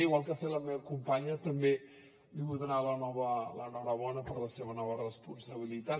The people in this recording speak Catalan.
igual que ha fet la meva companya també li vull donar l’enhorabona per la seva nova responsabilitat